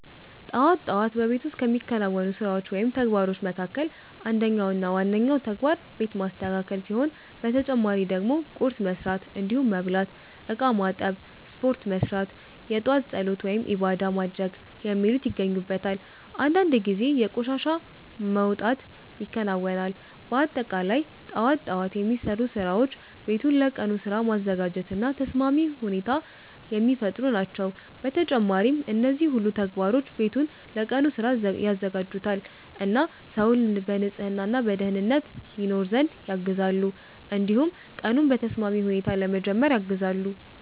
ጠዋት ጠዋት በቤት ውስጥ ከሚከናወኑ ስራዎች ወይም ተግባሮች መካከል አንደኛው እና ዋነኛው ተግባር ቤት ማስተካከል ሲሆን በተጨማሪ ደግሞ ቁርስ መስራት እንዲሁም መብላት፣ እቃ ማጠብ፣ ስፖርት መስራት፣ የጧት ፀሎት(ዒባዳ) ማድረግ የሚሉት ይገኙበታል። አንዳንድ ጊዜ የቆሻሻ መውጣት ይከናወናል። በአጠቃላይ ጠዋት ጠዋት የሚሰሩ ስራዎች ቤቱን ለቀኑ ስራ ማዘጋጀት እና ተስማሚ ሁኔታ የሚፈጥሩ ናቸው። በተጨማሪም እነዚህ ሁሉ ተግባሮች ቤቱን ለቀኑ ስራ ያዘጋጁታል እና ሰውን በንጽህና እና በደኅንነት ይኖር ዘንድ ያግዛሉ። እንዲሁም ቀኑን በተስማሚ ሁኔታ ለመጀመር ያግዛሉ።